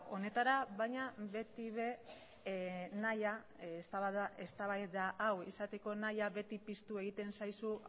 honetara baina beti ere nahia eztabaida hau izateko nahia beti piztu egiten zaizu